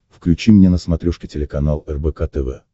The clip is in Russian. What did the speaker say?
включи мне на смотрешке телеканал рбк тв